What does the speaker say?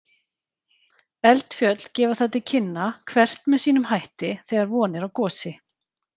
Eldfjöll gefa það til kynna, hvert með sínum hætti, þegar von er á gosi.